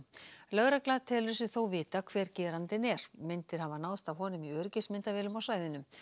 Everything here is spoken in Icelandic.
lögregla telur sig þó vita hver gerandinn er myndir hafi náðst af honum í öryggismyndavélum á svæðinu